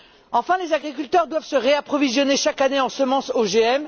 Enfin, les agriculteurs doivent se réapprovisionner chaque année en semences OGM